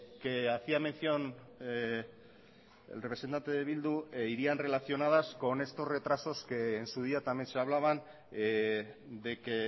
que hacía mención el representante de bildu irían relacionadas con estos retrasos que en su día también se hablaban de que